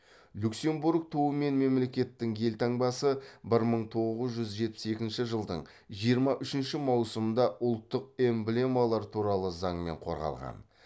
люксембург туы мен мемлекеттің елтаңбасы бір мың тоғыз жүз жетпіс екінші жылдың жиырма үшінші маусымында ұлттық эмблемалар туралы заңмен қорғалған